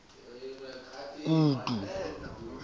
kutu